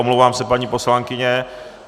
Omlouvám se, paní poslankyně.